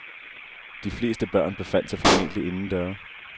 De fleste børn befandt sig formentlig inden døre.